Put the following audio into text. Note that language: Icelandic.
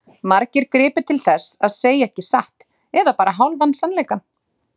Margir gripu til þess að segja ekki satt eða bara hálfan sannleika.